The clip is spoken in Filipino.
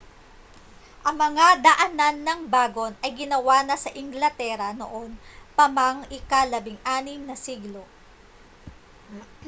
ang mga daanan ng bagon ay ginawa na sa inglatera noon pa mang ika-16 na siglo